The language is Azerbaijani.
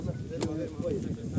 Gəlin bura, gəlin bura, gəlin bura qoyun.